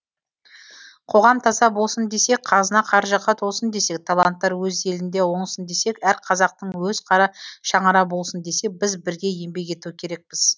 қоғам таза болсын десек қазына қаржыға толсын десек таланттар өз елінде оңсын десек әр қазақтың өз қара шаңырағы болсын десек біз бірге еңбек ету керекпіз